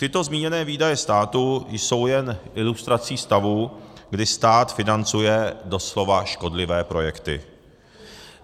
Tyto zmíněné výdaje státu jsou jen ilustrací stavu, kdy stát financuje doslova škodlivé projekty.